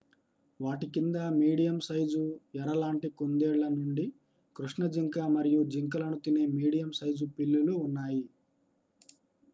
వాటి కింద medium size ఎర లాంటి కుందేళ్ళ నుండి కృష్ణ జింక మరియు జింకలను తినే మీడియం సైజు పిల్లులు ఉన్నాయి